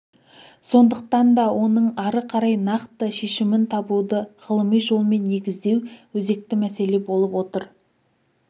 сондықтан да оның ары қарай нақты шешімін табуды ғылыми жолмен негіздеу өзекті мәселе болып отыр